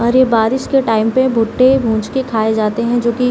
अरे बारिश के टाइम पे भुट्टे भुज के खाए जाते है जो कि --